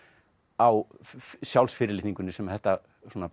á sjálfsfyrirlitningunni sem þetta